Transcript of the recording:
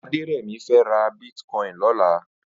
Aderemi fè rà bitkòin lòlà